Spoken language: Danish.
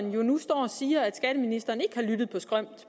nu står og siger at skatteministeren ikke har lyttet på skrømt